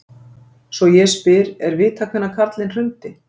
Svo ég spyr: er vitað hvenær Karlinn hrundi?